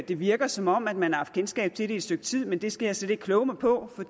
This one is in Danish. det virker som om at man har haft kendskab til det i stykke tid men det skal jeg slet ikke kloge mig på for